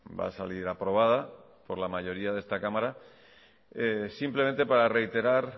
va a salir aprobada por la mayoría de esta cámara simplemente para reiterar